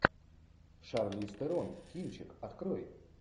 шарлиз терон кинчик открой